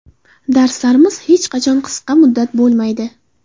Darslarimiz hech qachon qisqa muddat bo‘lmaydi.